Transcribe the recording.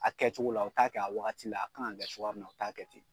A kɛcogo la u t'a kɛ a wagati la a kan ka kɛ cogoya min na u t'a kɛ ten.